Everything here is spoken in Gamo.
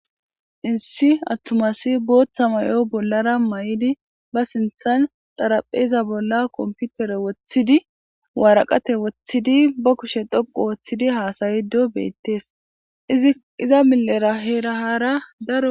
Issi attumasi booththa mayo bollara may'idi ba sinthan xarapheza bolla komputere woththidi waaraqate woththidi ba kushe dhoqu ooththidi haasayido beettees iza millera heerahaara daro